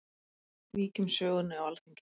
Víkjum sögunni á Alþingi.